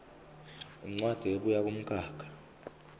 incwadi ebuya kumkhakha